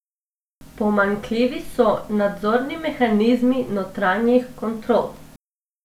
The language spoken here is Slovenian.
Pomanjkljivi so nadzorni mehanizmi notranjih kontrol.